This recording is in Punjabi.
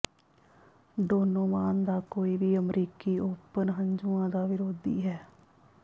ਡੋਨੋਵਾਨ ਦਾ ਕੋਈ ਵੀ ਅਮਰੀਕੀ ਓਪਨ ਹੰਝੂਆਂ ਦਾ ਵਿਰੋਧੀ ਹੈ